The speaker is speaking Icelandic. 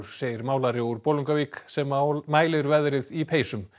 segir málari úr Bolungarvík sem mælir veðrið í peysum